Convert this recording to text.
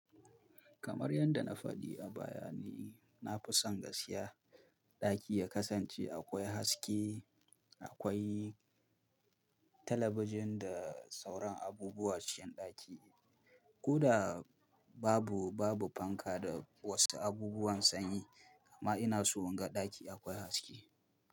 Kamar yadda na faɗi a baya ni, na fi son gaskiya ɗaki ya kasance akwai haske, akwai talabijin da sauran abubuwa cikin ɗaki. Koda babu, babu fanka da wasu abubuwan sanyi. Ama ina so in ga ɗaki akwai haske.